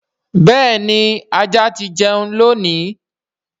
béèni ajá tí jẹ́un lóni.